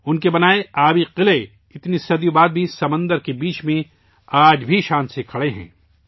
ان کے بنائے ہوئے جل دُرگ پانے میں قلعے اتنی صدیوں بعد بھی سمندر کے بیچوں بیچ شان سے کھڑے ہیں